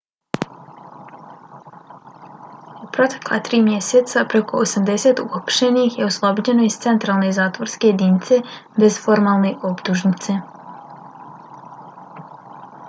u protekla 3 mjeseca preko 80 uhapšenih je oslobođeno iz centralne zatvorske jedinice bez formalne optužnice